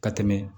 Ka tɛmɛ